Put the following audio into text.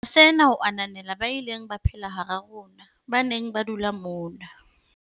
Re etsa sena ho ananela ba ileng ba phela hara rona, ba neng ba dula mona.